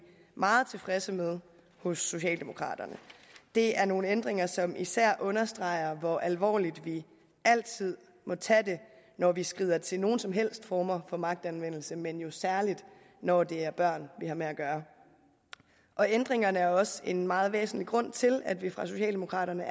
meget tilfredse med hos socialdemokraterne det er nogle ændringer som især understreger hvor alvorligt vi altid må tage det når vi skrider til nogen som helst former for magtanvendelse men jo særlig når det er børn vi har med at gøre ændringerne er også en meget væsentlig grund til at vi fra socialdemokraternes